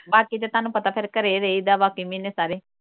ਬਾਕੀ ਤਾਂ ਤੁਹਾਨੂੰ ਪਤਾ ਹੈ ਫਿਰ ਘਰੇ ਹੀ ਰਹੀਦਾ ਬਾਕੀ ਮਹੀਨੇ ਸਾਰੇ।